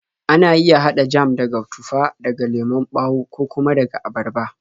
Ana iya haɗa jam daga tufa, daga lemon ɓawo, ko kuma daga abarba.